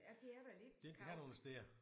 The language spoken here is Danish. Ja de er da lidt kavet